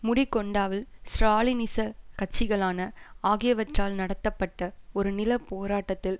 முடிகொண்டாவில் ஸ்ராலினிச கட்சிகளான ஆகியவற்றால் நடத்தப்பட்ட ஒரு நில போராட்டத்தில்